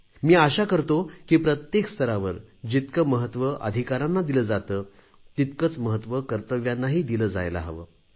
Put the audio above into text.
मी आशा करतो की प्रत्येक स्तरावर जितके महत्त्व अधिकारांना दिले जाते तितकंच महत्त्व कर्तव्यांनाही दिले जायला हवे